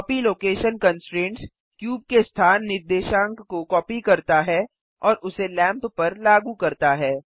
copy location constraints cube के स्थान निर्देशांक को कॉपी करता है और उसे लैंप पर लागू करता है